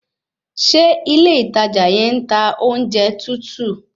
Ṣé ilé ìtajà yẹn ń ta oúnjẹ tútù?